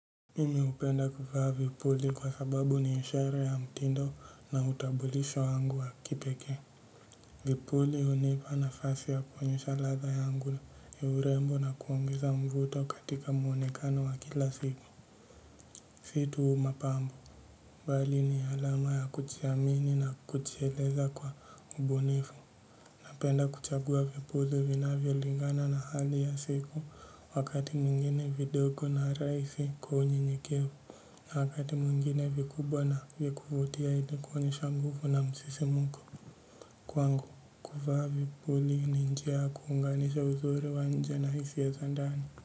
Mimi hupenda kuvaa vipuli kwa sababu ni ishara ya mtindo na utambulisho wangu wa kipekee. Vipuli hunipa nafasi ya kuonyesha ladha yangu ya urembo na kuongeza mvuto katika muonekano wa kila siku. Si tu mapambo. Bali ni alama ya kujiamini na kujieleza kwa ubunifu. Napenda kuchagua vipuli vinavyolingana na hali ya siku, wakati mwingine vidogo na rahisi kwa unyenyekevu. Na wakati mwingine vikubwa na vya kuvutia ili kuonyesha nguvu na msisimko kwangu. Kuvaa vipuli ni njia ya kuunganisha uziri wa nje na hisia za ndani.